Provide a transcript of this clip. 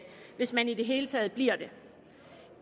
hvis man i det hele taget bliver det